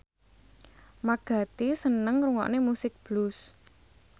Mark Gatiss seneng ngrungokne musik blues